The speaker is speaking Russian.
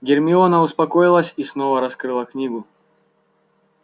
гермиона успокоилась и снова раскрыла книгу